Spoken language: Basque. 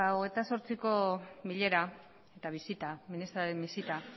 hogeita zortziko bilera eta bisita ministraren bisita